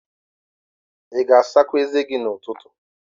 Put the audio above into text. Ị ga-asa eze gị n'ụtụtụ?